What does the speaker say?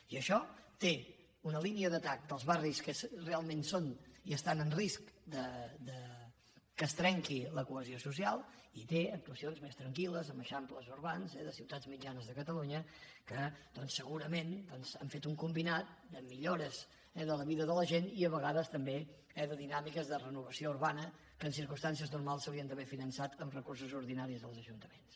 i això té una línia d’atac dels barris que realment són i estan en risc que es trenqui la cohesió social i té actuacions més tranquil·les amb eixamples urbans de ciutats mitjanes de catalunya que doncs segurament han fet un combinat de millores de la vida de la gent i a vegades també eh de dinàmiques de renovació urbana que en circumstàncies normals s’haurien d’haver finançat amb recursos ordinaris dels ajuntaments